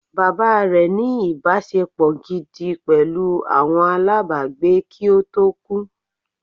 Bàbá rẹ̀ ní “ ìbáṣepọ̀ gidi pẹ̀lú àwọn alábàágbé kí ó tó kú